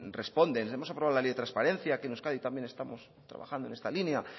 responden hemos aprobado la ley de transparencia que en euskadi también estamos trabajando en esta línea